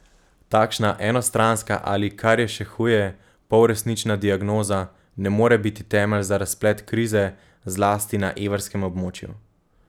Takšna enostranska ali, kar je še huje, polresnična diagnoza ne more biti temelj za razplet krize, zlasti na evrskem območju.